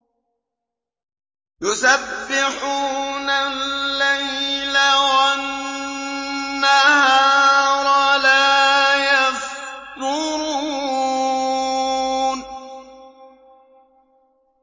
يُسَبِّحُونَ اللَّيْلَ وَالنَّهَارَ لَا يَفْتُرُونَ